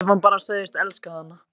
Ef hann bara segðist elska hana: